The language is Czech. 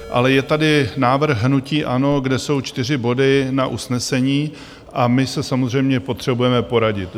Ale je tady návrh hnutí ANO, kde jsou čtyři body na usnesení, a my se samozřejmě potřebujeme poradit.